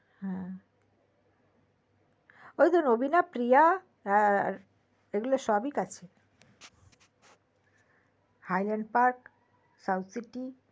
হ্যা ঐতো নবীনা প্রিয়া এগুলো সবই কাছে hylandparksouthcity